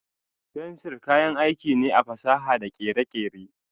Fensir kayan aiki ne a fasaha da kere-kere.